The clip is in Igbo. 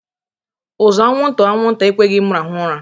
Uzu anwụnta anwụnta ekweghị m rahụ ura